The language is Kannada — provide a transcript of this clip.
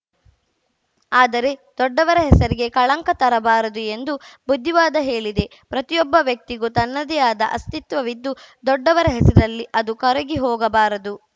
ಆದರೆ ದೊಡ್ಡವರ ಹೆಸರಿಗೆ ಕಳಂಕ ತರಬಾರದು ಎಂದು ಬುದ್ಧಿವಾದ ಹೇಳಿದೆ ಪ್ರತಿಯೊಬ್ಬ ವ್ಯಕ್ತಿಗೂ ತನ್ನದೇ ಆದ ಅಸ್ತಿತ್ವವಿದ್ದು ದೊಡ್ಡವರ ಹೆಸರಲ್ಲಿ ಅದು ಕರಗಿ ಹೋಗಬಾರದು